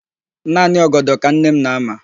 Naanị ọgọdọ ka nne m na-ama.